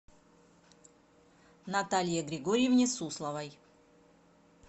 наталье григорьевне сусловой